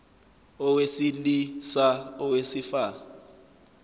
owesili sa owesifa